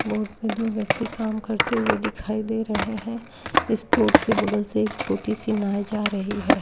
और दो व्यक्ति काम करते हुए दिखाई दे रहे है। इस बोट के बगल से एक छोटी सी नाव जा रही हैं।